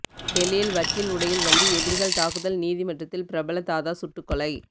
டெல்லியில் வக்கீல் உடையில் வந்து எதிரிகள் தாக்குதல் நீதிமன்றத்தில் பிரபல தாதா சுட்டுக்கொலை